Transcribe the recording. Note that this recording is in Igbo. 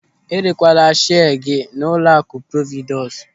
Erekwala shia gị n'ụlọakụ Providus.